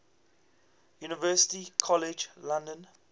university college london